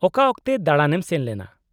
-ᱚᱠᱟ ᱚᱠᱛᱮ ᱫᱟᱬᱟᱱ ᱮᱢ ᱥᱮᱱ ᱞᱮᱱᱟ ?